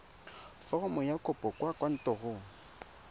foromo ya kopo kwa kantorong